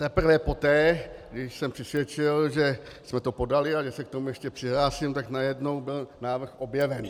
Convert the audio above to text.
Teprve poté, když jsem přisvědčil, že jsme to podali a že se k tomu ještě přihlásím, tak najednou byl návrh objeven.